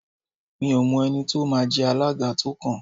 Mi ò mọ ẹni tí ó máa jẹ alága tó kàn